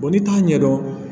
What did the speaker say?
n'i t'a ɲɛdɔn